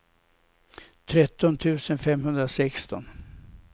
tretton tusen femhundrasexton